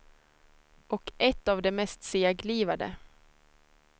Och ett av de mest seglivade.